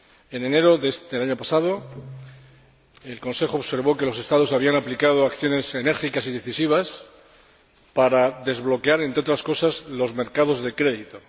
En enero del año pasado, el Consejo observó que los Estados habían aplicado acciones enérgicas y decisivas para desbloquear, entre otras cosas, los mercados de crédito.